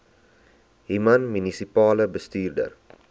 human munisipale bestuurder